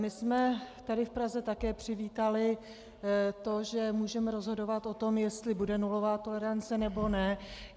My jsme tady v Praze také přivítali to, že můžeme rozhodovat o tom, jestli bude nulová tolerance, nebo ne.